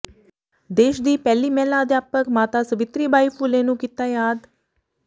ਦੇਸ਼ ਦੀ ਪਹਿਲੀ ਮਹਿਲਾ ਅਧਿਆਪਕ ਮਾਤਾ ਸਵਿਤਰੀ ਬਾਈ ਫੂਲੇ ਨੂੰ ਕੀਤਾ ਯਾਦ